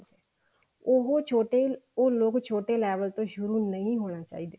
ਉਹ ਛੋਟੇ ਉਹ ਛੋਟੇ level ਤੋਂ ਸ਼ੁਰੂ ਨਹੀਂ ਹੋਣਾ ਚਾਹੁੰਦੇ